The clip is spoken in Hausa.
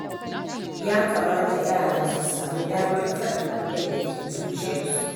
Ya kamata yara su sami damar faɗin abinda ke zuciyarsu.